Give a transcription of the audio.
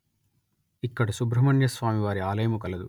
ఇక్కడ సుబ్రహ్మణ్య స్వామి వారి ఆలయము కలదు